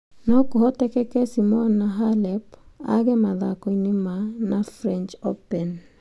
No kũhoteke Simona Halep aage mathako-inĩ ma na French Open.